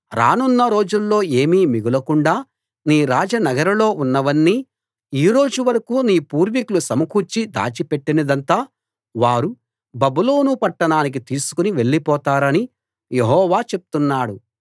రానున్న రోజుల్లో ఏమీ మిగులకుండా నీ రాజనగరులో ఉన్నవన్నీ ఈ రోజు వరకూ నీ పూర్వికులు సమకూర్చి దాచిపెట్టినదంతా వారు బబులోను పట్టణానికి తీసుకుని వెళ్ళిపోతారని యెహోవా చెప్తున్నాడు